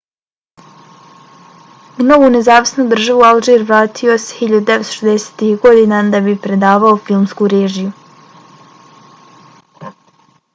u novu nezavisnu državu alžir vratio se 1960-ih godina da bi predavao filmsku režiju